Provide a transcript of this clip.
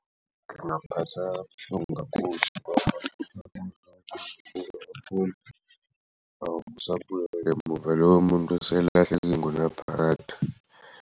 Ngingaphatheka kabuhlungu kakhulu ingunaphakade.